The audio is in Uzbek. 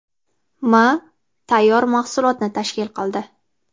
m. tayyor mahsulotni tashkil qildi.